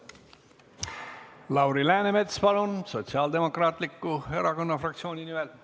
Lauri Läänemets, palun Sotsiaaldemokraatliku Erakonna fraktsiooni nimel!